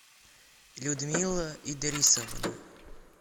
людмила идрисовна